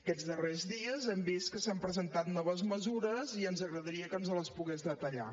aquests darrers dies hem vist que s’han presentat noves mesures i ens agradaria que ens les pogués detallar